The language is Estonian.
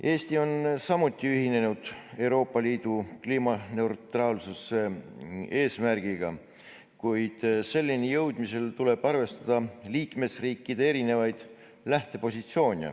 Eesti on samuti ühinenud Euroopa Liidu kliimaneutraalsuse eesmärgiga, kuid selleni jõudmisel tuleb arvestada liikmesriikide erinevaid lähtepositsioone.